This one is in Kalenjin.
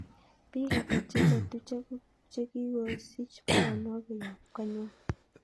Piik ata cheletu chegiosich baronok koyop konywan